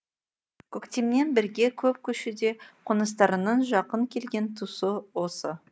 көктемнен бергі көп көшуде қоныстарының жақын келген тұсы осы